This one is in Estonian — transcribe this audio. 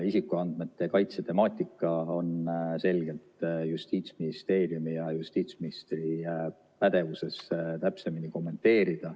Isikuandmete kaitse temaatika täpsemini kommenteerimine on selgelt Justiitsministeeriumi ja justiitsministri pädevuses.